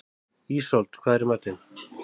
Ísold, hvað er í matinn?